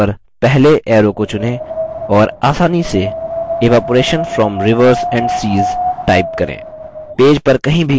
दायीं ओर पर पहले arrow को चुनें और आसानी से evaporation from rivers and seas type करें